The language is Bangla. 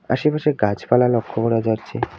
আসেপাশে গাছপালা লক্ষ্য করা যাচ্ছে।